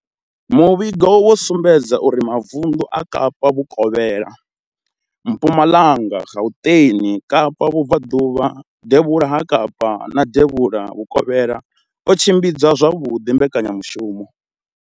Muvhigo wo sumbedzisa uri mavundu a Kapa vhukovhela, Mpumalanga, Gauteng, Kapa vhubvaḓuvha, devhula ha Kapa na devhula Vhukovhela o tshimbidza zwavhuḓi mbekanyamushumo.